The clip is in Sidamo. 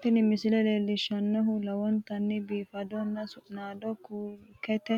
Tini misile leellishshannohu lowontanni biifannota su'maseno kurkete